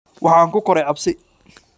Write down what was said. Waxaan ku koray cabsi.